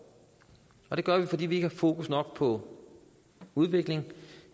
og det gør vi fordi vi ikke har fokus nok på udvikling